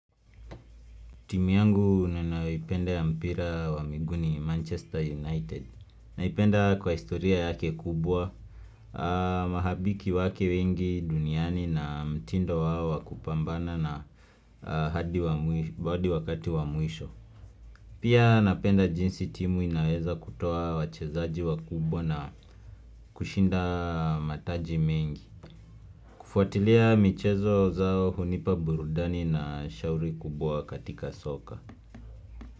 Timu yangu ninayo ipenda ya mpira wa miguu ni Manchester United. Naipenda kwa historia yake kubwa, mashabiki wake wengi duniani na mtindo wao wa kupambana na hadi wakati wa mwisho. Pia napenda jinsi timu inaweza kutoa wachezaji wa kubwa na kushinda mataji mengi. Kufuatilia michezo zao hunipa burudani na shauri kubwa katika soka.